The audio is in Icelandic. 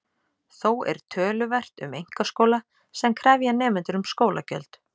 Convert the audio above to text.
Þó er töluvert um einkaskóla sem krefja nemendur um skólagjöld.